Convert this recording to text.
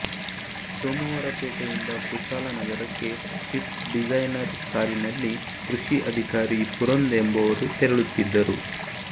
ಸೋಮವಾರಪೇಟೆ ಯಿಂದ ಕುಶಾಲನಗರಕ್ಕೆ Swift Dzire ಕಾರಿನಲ್ಲಿ ಕೃಷಿ ಅಧಿಕಾರಿ ಪುರಂದ್ ಎಂಬವರು ತೆರಳುತ್ತಿದ್ದರು